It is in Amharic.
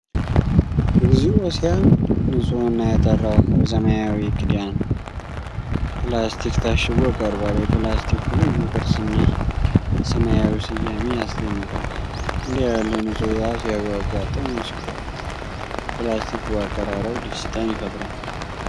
እግዚኦ! ሲያምር! ንጹህና የጠራ ውሃ በሰማያዊ ክዳን ፕላስቲክ ታሽጎ ቀርቧል። የፕላስቲኩ ልዩ ቅርፅና የሰማያዊው ስያሜ ያስደንቃል። እንዲህ ያለ ንጹህ ውሃ ሲያጓጓ! ጥሙን ሲቆርጥ! የፕላስቲኩ አቀራረብ ደስታን ይፈጥራል።